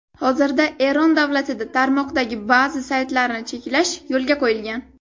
Hozirda Eron davlatida tarmoqdagi ba’zi saytlarni cheklash yo‘lga qo‘yilgan.